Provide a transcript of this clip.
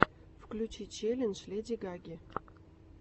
включи челлендж леди гаги